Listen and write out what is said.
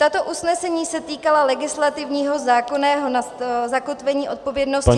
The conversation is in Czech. Tato usnesení se týkala legislativního zákonného zakotvení odpovědnosti za -